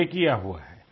बा किया हुआ है